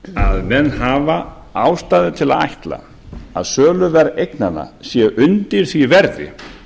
að menn hafa ástæðu til að ætla að söluverð eignanna sé undir því verði